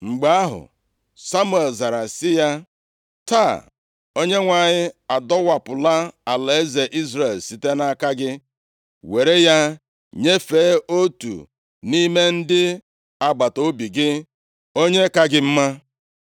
Mgbe ahụ, Samuel zara sị ya, “Taa Onyenwe anyị adọwapụla alaeze Izrel site nʼaka gị were ya nyefee otu nʼime ndị agbataobi gị, onye ka gị mma.